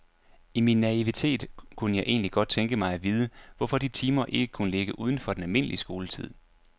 I min naivitet kunne jeg egentlig godt tænke mig at vide, hvorfor de timer ikke kunne ligge uden for den almindelige skoletid.